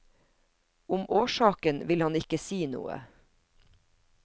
Om årsaken vil han ikke si noe.